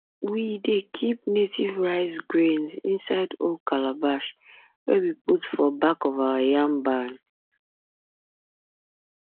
um we dey keep native rice grains inside old calabash wey we put for back of the yam barn